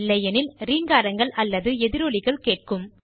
இல்லை எனில் ரீங்காரங்கள் அல்லது எதிரொலிகள் கேட்கும்